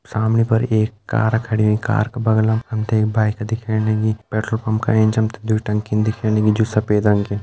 सामणी पर एक कार खड़ीं कार का बगलम हम ते एक बाइक दिखेण लगीं पेट्रोल पंप का एंच हम ते दुई टंकी दिखेण लगीं जु सफ़ेद की।